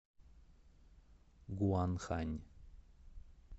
гуанхань